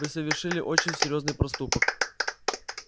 вы совершили очень серьёзный проступок